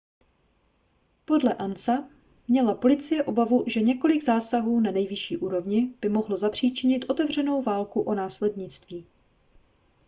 podle ansa měla policie obavu že několik zásahů na nejvyšší úrovni by mohlo zapříčinit otevřenou válku o následnictví